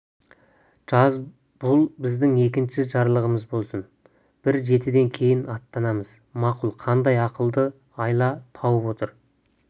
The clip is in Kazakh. жаз бұл біздің екінші жарлығымыз болсын бір жетіден кейін аттанамыз мақұл қандай ақылды айла тауып отыр